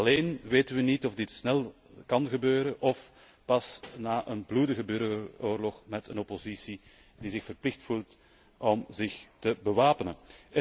Alleen weten we niet of dit snel kan gebeuren of pas na een bloedige burgeroorlog met een oppositie die zich verplicht voelt om zich te bewapenen.